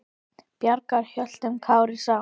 Bjargar höltum karli sá.